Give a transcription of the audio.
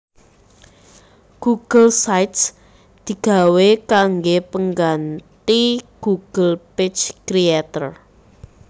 Google Sites digawé kanggé pengganthi Google Page Creator